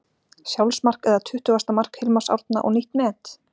Sjálfsmark eða tuttugasta mark Hilmars Árna og nýtt met?